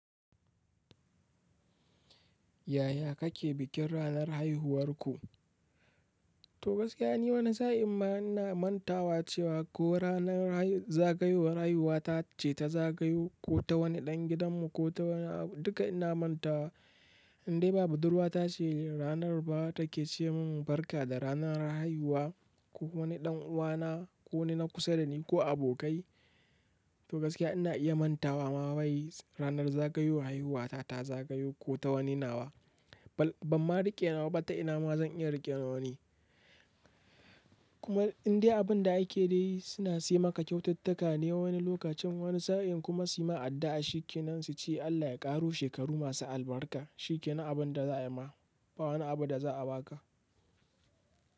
Yaya kake bikin ranar haihuwarku? To gaskiya ni wani sa'in ma ina mantawa cewa ko ranar zagayowar haihuwata ce ta zagayo ko ta wani ɗan gidanmu ko ta duka ina mantawa. Indai ba budurwa ta ce ranar ba take ce min barka da ranar haihuwa ko kuma wani ɗan uwana ko wani na kusa da ni ko abokai. To gaskiya ina iya mantawa ma wai ranar zagayowar haihuwata ta zagayu ko ta wani nawa. Ban ma riƙe nawa ba ta ina ma zan iya riƙe na wani kuma indai abun da ake dai suna sai maka kyaututtuka ne wani lokacin wani sa'in kuma su yi ma addu'a shi kenan su ce Allah ya ƙaru shekaru masu albarka shi kenan abun da za ayi ma ba wani abu da za a ba ka.